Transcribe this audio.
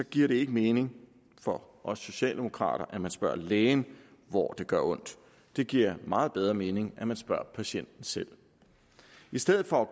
giver det ikke mening for os socialdemokrater at man spørger lægen hvor det gør ondt det giver meget bedre mening at man spørger patienten selv i stedet for